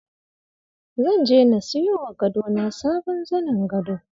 Zan je na siyowa gado na sabon zanin gado.